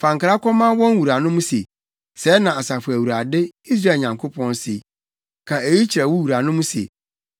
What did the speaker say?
Fa nkra kɔma wɔn wuranom se: Sɛɛ na Asafo Awurade, Israel Nyankopɔn se, ‘Ka eyi kyerɛ wo wuranom se: